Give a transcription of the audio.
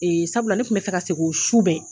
Sabula ne tun bɛ fɛ ka segin o su bɛɛ